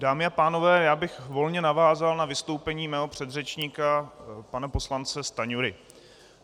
Dámy a pánové, já bych volně navázal na vystoupení svého předřečníka, pana poslance Stanjury.